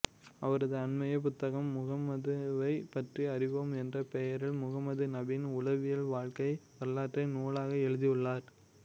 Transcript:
அவரது அண்மைய புத்தகம் முகம்மதுவை பற்றி அறிவோம் என்ற பெயரில் முகமது நபியின் உளவியல் வாழ்க்கை வரலாற்றை நூலாக எழுதியுள்ளார்